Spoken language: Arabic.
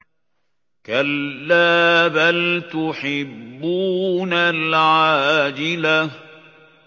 كَلَّا بَلْ تُحِبُّونَ الْعَاجِلَةَ